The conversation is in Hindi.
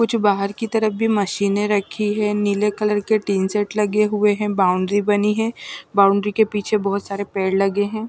कुछ बाहर की तरफ भी मशीनें रखी हैं नीले कलर के टीन सेट लगे हुए हैं बाउंड्री बनी है बाउंड्री के पीछे बहुत सारे पेड़ लगे हैं।